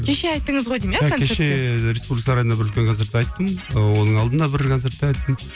кеше айттыңыз ғой деймін иә концертте кеше республика сарайында бір үлкен концертте айттым оның алдында бір концертте айттым